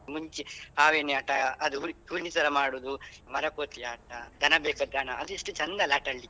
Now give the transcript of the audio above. ಮುಂಚೆ ಹಾವು ಏಣಿ ಆಟ ಅದು ಮಾಡುದು ಮರ ಕೋತಿ ಆಟ ದನ ಬೇಕ ದನ ಅದು ಎಷ್ಟು ಚಂದ ಅಲ್ಲ ಆಟಾಡ್ಲಿಕ್ಕೆ.